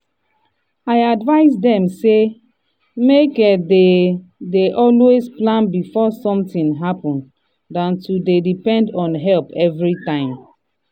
i advise dem say amke dey dey always plan before something happen dan to dey depend on help everytime.